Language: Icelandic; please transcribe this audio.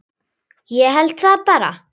Ég held það bara.